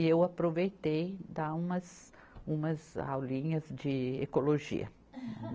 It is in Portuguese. E eu aproveitei, dar umas, umas aulinhas de ecologia.